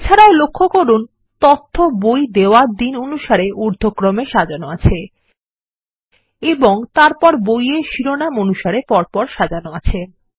এছাড়াও লক্ষ্য করুন তথ্য বই দেওয়ার দিন অনুসারে ঊর্ধক্রমে সাজানো আছে এবং তারপর বইয়ের শিরোনাম অনুসারে পরপর সাজানো আছে